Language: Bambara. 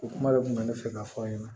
O kuma de kun bɛ ne fɛ ka fɔ aw ɲɛna